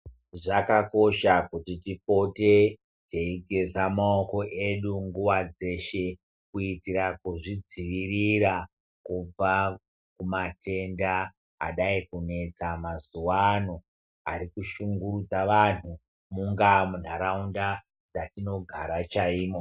Zvakakosha kuti tipote teigeza maooko edu nguwa dzeshe kuitira kuzvidzivirira kubva kumatenda adai kunetsa mazuano ari kushungurudza vantu munga munharaunda dzatinogara chaimo.